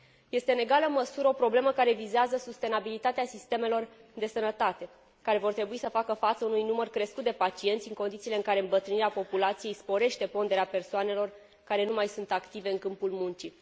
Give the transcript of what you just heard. Este în egală măsură o problemă care vizează sustenabilitatea sistemelor de sănătate, care vor trebui să facă față unui număr crescut de pacienți, în condițiile în care îmbătrânirea populației sporește ponderea persoanelor care nu mai sunt active în câmpul muncii.